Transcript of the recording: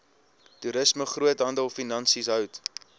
toerisme groothandelfinansies hout